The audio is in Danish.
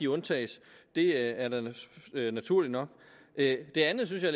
undtages det er da naturligt nok det det andet synes jeg